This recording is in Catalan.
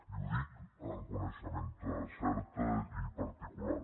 i ho dic amb coneixement cert i particular